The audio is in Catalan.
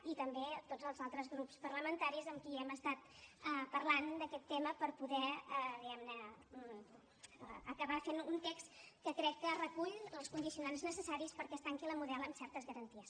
i també a tots els altres grups parlamentaris amb qui hem estat parlant d’aquest tema per poder diguem ne acabar fent un text que crec que recull els condicionants necessaris perquè es tanqui la model amb certes garanties